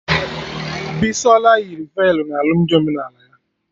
Bisola yiri velu na alụmdi omenala ya